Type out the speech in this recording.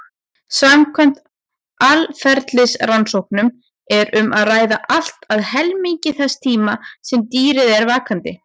Samkvæmt atferlisrannsóknum er um að ræða allt að helmingi þess tíma sem dýrið er vakandi.